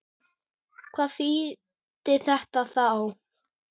Hvað þýddi þetta þá?